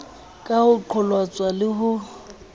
ka ho qholotswa le ho